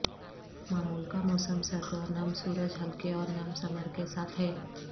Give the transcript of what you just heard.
معمول کا موسم سرد اور نم سورج ہلکے اور نم سمر کے ساتھ ہے